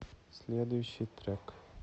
следующий трек